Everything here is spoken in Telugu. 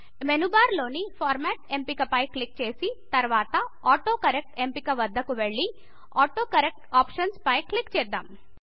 మేను బార్ లోని ఫార్మాట్ ఎంపిక పై క్లిక్ చేసి తర్వాత ఆటోకరెక్ట్ ఎంపిక వద్దకు వెళ్ళి ఆటోకరెక్ట్ ఆప్షన్స్ పై క్లిక్ చేద్దాం